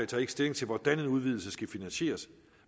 tager ikke stilling til hvordan en udvidelse skal finansieres